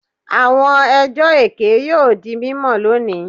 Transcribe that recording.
Awọn ẹjọ eke yoo di mimọ loni